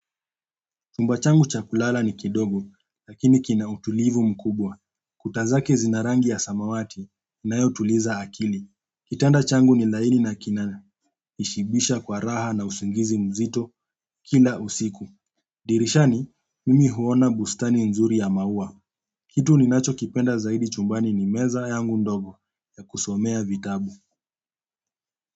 Chumba changu cha kulala ni kidogo, lakini kina utulivu mkubwa. Kuta zake zina rangi ya samawati, inayotuliza akili. Kitanda changu ni laini na kina, ishibisha kwa raha na usingizi mzito kila usiku. Dirishani, mimi huona bustani nzuri ya maua. Kitu ninacho kipenda zaidi chumbani ni meza yangu ndogo ya kusomea vitabu.